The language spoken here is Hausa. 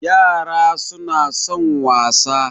Yara suna son wasa